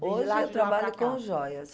Hoje eu trabalho com joias.